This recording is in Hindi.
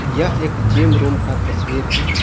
यह एक जिम रूम का तस्वीर है ।